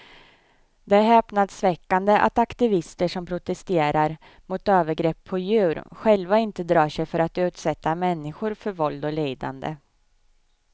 Det är häpnadsväckande att aktivister som protesterar mot övergrepp på djur själva inte drar sig för att utsätta människor för våld och lidande.